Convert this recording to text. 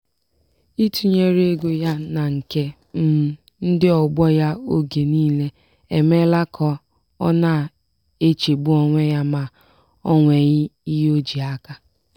ịtụnyere ego ya na nke um ndị ọgbọ ya oge niile emeela ka ọ na-echegbu onwe ya ma o nweghị ihe o ji aka.